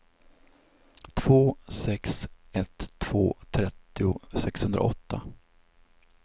två sex ett två trettio sexhundraåtta